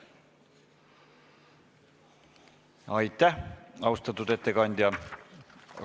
Aitäh, austatud ettekandja!